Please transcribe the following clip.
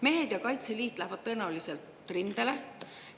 Mehed ja Kaitseliit lähevad tõenäoliselt rindele.